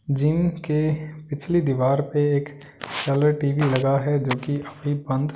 gym के पिछली दीवार पे एक सेलर टीवी लगा है जो कि अभी बंद--